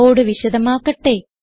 code വിശദമാക്കട്ടെ